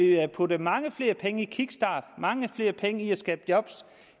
vi har puttet mange flere penge i en kickstart mange flere penge i at skabe job